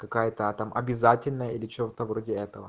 какая-то там обязательно или что-то вроде этого